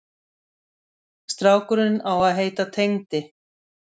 Strákurinn á að heita Tengdi.